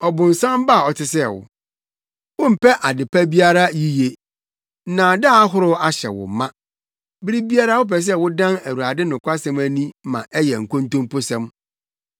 “Ɔbonsam ba a ɔte sɛ wo! Wompɛ ade pa biara yiye. Nnaadaa ahorow ahyɛ wo ma. Bere biara wopɛ sɛ wodan Awurade nokwasɛm ani ma ɛyɛ nkontomposɛm!